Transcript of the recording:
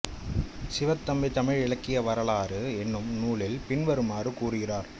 சிவத்தம்பி தமிழ் இலக்கிய வரலாறு என்னும் நூலில் பின்வருமாறு கூறுகிறார்